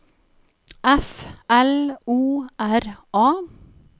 F L O R A